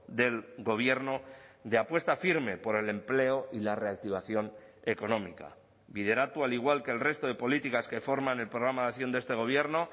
del gobierno de apuesta firme por el empleo y la reactivación económica bideratu al igual que el resto de políticas que forman el programa de acción de este gobierno